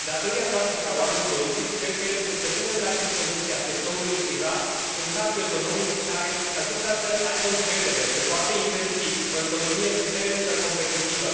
Datoria noastră ca oameni politici cred că este să punem la dispoziția sectorului privat un cadru economic în care acesta să aibă încredere, să poată investi, o economie puternică, competitivă.